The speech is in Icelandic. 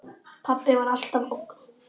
Pabbi var alltaf ógn.